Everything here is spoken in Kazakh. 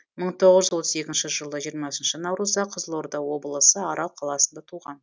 мың тоғыз отыз екінші жылы жиырмасынша наурызда қызылорда облысы арал қаласында туған